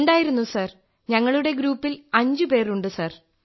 ഉണ്ടായിരുന്നു സർ ഞങ്ങളുടെ ഗ്രൂപ്പിൽ അഞ്ച് പേർ ഉണ്ട് സർ